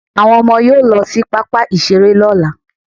Àwọn ọmọ yóò lọ sí pápá ìṣeré ní ọ̀la